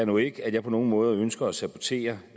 nu ikke at jeg på nogen måde ønsker at sabotere